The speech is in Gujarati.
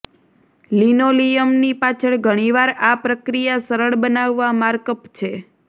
લિનોલિયમની પાછળ ઘણી વાર આ પ્રક્રિયા સરળ બનાવવા માર્કઅપ છે